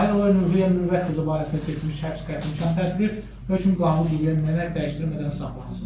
Tahirova Ruhiyyə Mürvət qızı barəsində seçilmiş həbs qətimkan tədbiri hökm qanuni qüvvəyə minənəyək dəyişdirilmədən saxlanılsın.